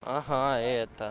ага это